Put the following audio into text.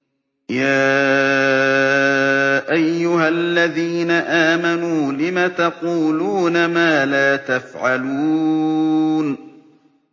يَا أَيُّهَا الَّذِينَ آمَنُوا لِمَ تَقُولُونَ مَا لَا تَفْعَلُونَ